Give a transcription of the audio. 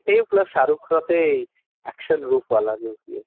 plus Shahrukh ଏତେ action ବହୁତ ଭଲ ଦେଇଥିଲେ